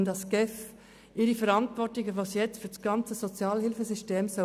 Vielmehr soll die GEF ihre Verantwortung wahrnehmen, die sie für das ganze Sozialhilfesystem trägt.